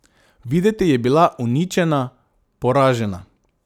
Videti je bila uničena, poražena.